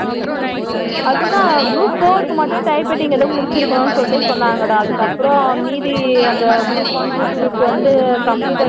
அது தான் group four க்கு மட்டும் typewriting எதோ முடிச்சிருக்கனும்னு சொல்லிட்டு சொன்னாங்கடா அதுக்கப்புறம் மீதி group one group two க்கு வந்து computer